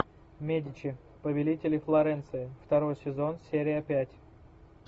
медичи повелители флоренции второй сезон серия пять